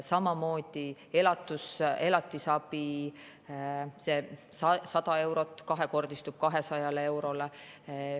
Samamoodi elatisabi, 100 eurot kahekordistub 200 eurole.